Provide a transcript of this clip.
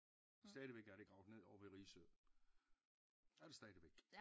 Stadigvæk er det gravet ned ovre ved Risø er det stadigvæk